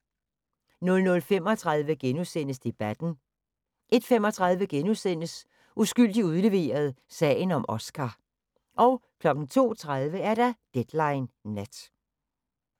00:35: Debatten * 01:35: Uskyldig udleveret – sagen om Oscar * 02:30: Deadline Nat